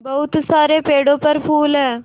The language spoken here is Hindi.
बहुत सारे पेड़ों पर फूल है